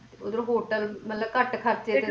ਉਧਰ hotel ਮਤਲਬ ਘੱਟ ਖਰਚੇ ਚ